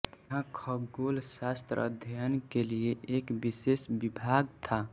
यहाँ खगोलशास्त्र अध्ययन के लिए एक विशेष विभाग था